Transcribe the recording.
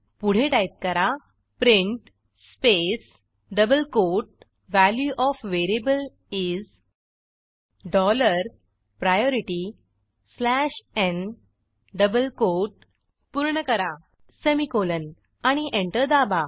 पुढे टाईप करा print space double quote value OF variable is dollar priority slash n double quote पूर्ण करा semicolon आणि enter दाबा